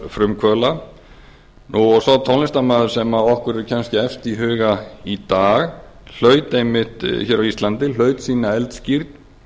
frumkvöðla og sá tónlistarmaður sem okkur er kannski efst í huga í dag hlaut einmitt hér á íslandi sína eldskírn